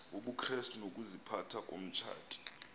wobukrestu nokaziphatha komtshati